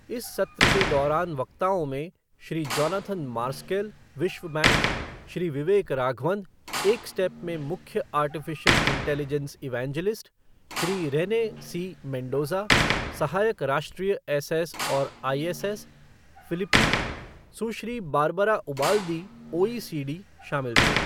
इस सत्र के दौरान वक्ताओं में श्री जोनाथन मार्सकेल, विश्व बैंक, श्री विवेक राघवन, एकस्टेप में मुख्य artificial intelligence evangelist, Shri Rene C Mendoza, सहायक राष्ट्रीय एसएस और ISS, Philippine, Sushri Barbara Ubaldi, OECD शामिल थे।